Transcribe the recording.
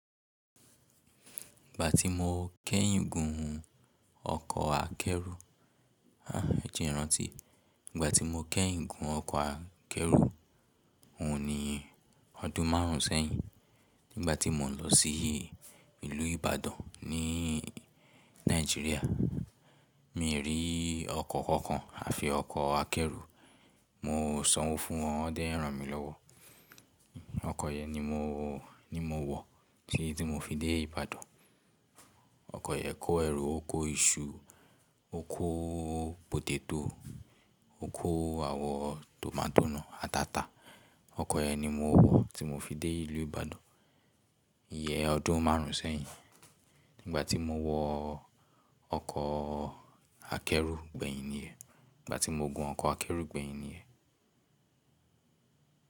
Ìgbà tí mo kẹ́yìn gun ọkọ̀ akẹ́rù, ẹ́ jẹ́ n rántì, ìgbà tí mo kẹ́yìn gun ọkọ̀ akẹ́rù hun ni ọdún márùn-ún sẹ́yìn nígbà tí mò ń lọ sí ìlú Ibadan ní Nàìjíríà. Mi rí ọkọ̀ kankan àfi ọkọ̀ akẹ́rù. Mo sanwó fún wọn, wọn dẹ́n ran mi lọ́wọ́. Ọkọ̀ yẹn ni mo, ni mo wọ̀ tí tí mo fi dé Ìbàdàn. Ọkọ̀ yẹn kó ẹrù, ó kó iṣu, ó kó pòtétò, ó kó àwọ̀ tòmátò náà a ti ata. Ọkọ̀ yẹn ni mo wọ̀ tí mo fi dé ìlú Ìbàdàn ìyẹ ọdún márùn-ún sẹ́yìn. Nígbà tí mo wọ ọkọ̀ akẹ́rù gbẹ̀yìn níyen, nígbà tí mo gun ọkọ̀ akẹ́rù gbẹ̀yìn níyen.